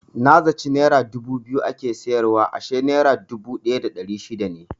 Na zaci nera dubu biyu ake siyarwa ashe nera dubu ɗaya da ɗari shida ne.